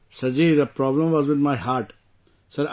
Ji the problem was with my heart Sir